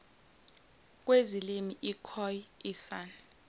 kwezilimi ikhoe isan